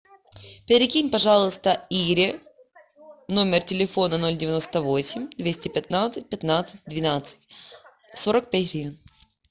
перекинь пожалуйста ире номер телефона ноль девяносто восемь двести пятнадцать пятнадцать двенадцать сорок пять гривен